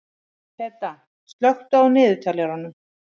Peta, slökktu á niðurteljaranum.